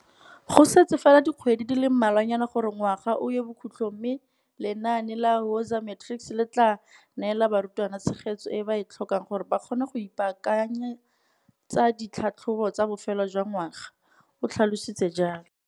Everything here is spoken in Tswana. Go setse fela dikgwedi di le mmalwanyana gore ngwaga o ye bokhutlong mme lenaane la Woza Matrics le tla neela barutwana tshegetso e ba e tlhokang gore ba kgone go ipaakanyetsa ditlhatlhobo tsa bofelo jwangwaga, o tlhalositse jalo.